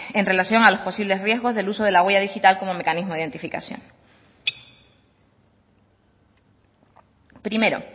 en relación a los posibles riesgos del uso de la huella digital como mecanismo de identificación primero